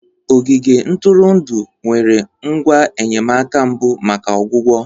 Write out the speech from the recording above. Ogige ntụrụndụ nwere ngwa enyemaka mbụ maka ọgwụgwọ